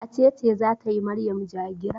Wace ce za ta yi Maryam ja-gira?